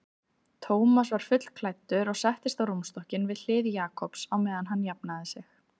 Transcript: Thomas var fullklæddur og settist á rúmstokkinn við hlið Jakobs á meðan hann jafnaði sig.